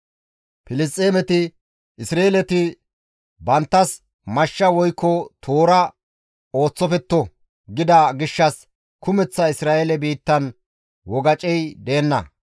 Filisxeemeti, «Isra7eeleti banttas mashsha woykko toora ooththofetto» gida gishshas kumeththa Isra7eele biittan wogacey deenna.